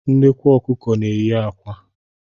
Nnekwu Ọkụkọ na-eyi akwa